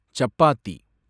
chapati